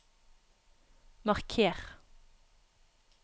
marker